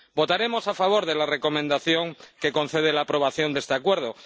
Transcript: Votaremos a favor de la Recomendación que concede la aprobación de este Acuerdo.